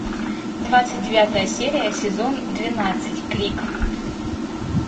двадцать девятая серия сезон двенадцать крик